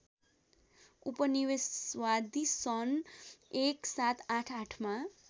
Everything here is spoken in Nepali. उपनिवेशवादी सन् १७८८ मा